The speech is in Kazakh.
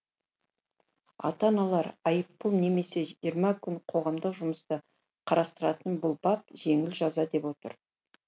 ата аналар айыппұл немесе жиырма күн қоғамдық жұмысты қарастыратын бұл бап жеңіл жаза деп отыр